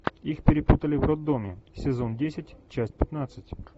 их перепутали в роддоме сезон десять часть пятнадцать